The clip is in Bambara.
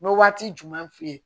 N bɛ waati jumɛn f'i ye